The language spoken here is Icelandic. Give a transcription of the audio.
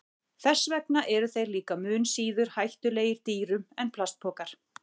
Þess vegna eru þeir líka mun síður hættulegir dýrum en plastpokar.